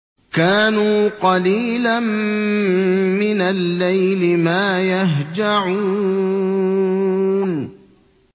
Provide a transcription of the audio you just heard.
كَانُوا قَلِيلًا مِّنَ اللَّيْلِ مَا يَهْجَعُونَ